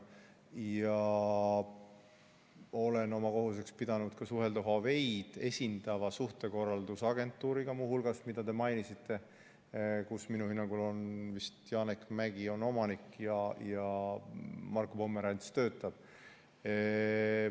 Ja olen oma kohuseks pidanud suhelda muu hulgas Huaweid esindava suhtekorraldusagentuuriga, mida te mainisite, kus minu hinnangul vist Janek Mäggi on omanik ja Marko Pomerants töötab seal.